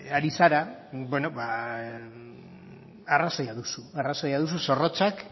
ari zara beno ba arrazoia duzu arrazoia duzu zorrotzak